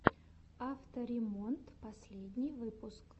авто ремонт последний выпуск